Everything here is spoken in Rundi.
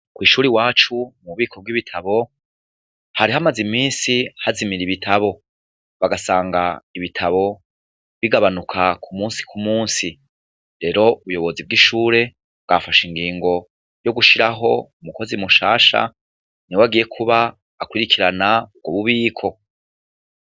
Kw'ishure iwacu mu bubiko bw'ibitabu, hari hamaze iminsi hazimira ibitabu, bagasanga ibitabu bigabanuka ku musi ku musi. Rero ubuyobozi bw'ishure bwafashe ingingo yo gushiraho umukozi mushasha, niwe agiye kuba akurikirana ubwo bubiko.